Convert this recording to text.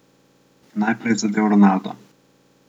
Najprej je zadel Ronaldo.